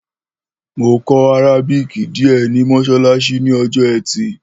Mò kó àrábíkì díè ní mósólásí ní ojó ẹtì